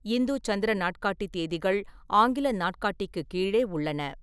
இந்து சந்திர நாட்காட்டி தேதிகள் ஆங்கில நாட்காட்டிக்கு கீழே உள்ளன.